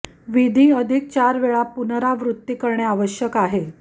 विधी अधिक चार वेळा पुनरावृत्ती करणे आवश्यक आहे